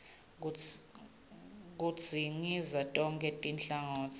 kudzingidza tonkhe tinhlangotsi